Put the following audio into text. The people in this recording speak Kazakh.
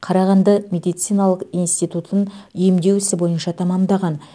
қарағанды медициналық интитутын емдеу ісі бойынша тәмәмдаған